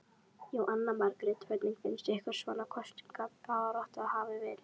Jóhanna Margrét: Hvernig finnst ykkur svona kosningabaráttan hafa verið?